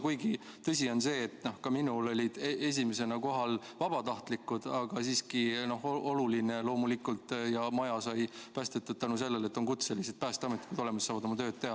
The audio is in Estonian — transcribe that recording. Kuigi, tõsi on see, et ka minul olid esimesena kohal vabatahtlikud, aga siiski on oluline loomulikult, et maja sai päästetud tänu sellele, et on olemas kutselised päästjad, kes saavad oma tööd teha.